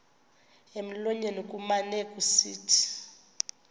emlonyeni kumane kusithi